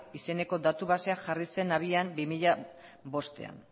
izeneko datu basea jarri zen abian bi mila bostean